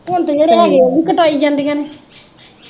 ਹੁਣ ਤੇ ਜਿਹੜੇ ਹੈਗੇ ਓਵੀ ਕਟਾਈ ਜਾਂਦੀਆਂ ਨੇ